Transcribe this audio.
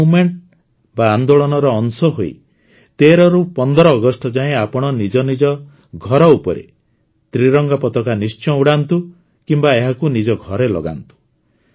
ଏହି ମୁଭମେଣ୍ଟ ଆନ୍ଦୋଳନ ର ଅଂଶ ହୋଇ ୧୩ ରୁ ୧୫ ଅଗଷ୍ଟ ଯାଏଁ ଆପଣ ନିଜ ଘର ଉପରେ ତ୍ରିରଙ୍ଗା ପତାକା ନିଶ୍ଚୟ ଉଡ଼ାନ୍ତୁ କିମ୍ବା ଏହାକୁ ନିଜ ଘରେ ଲଗାନ୍ତୁ